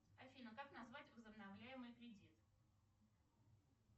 афина как назвать возобновляемый кредит